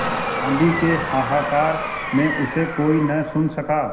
आँधी के हाहाकार में उसे कोई न सुन सका